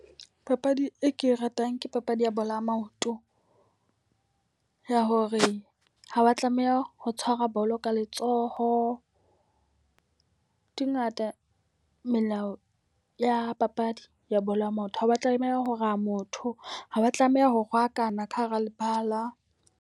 Papadi e ke e ratang ke papadi ya bolo ya maoto, ya hore ha wa tlameha ho tshwara bolo ka letsoho. Di ngata melao ya papadi ya bolo ya maoto. Ha wa tlameha ho raya motho, ha wa tlameha ho rwakana ka hara lebala.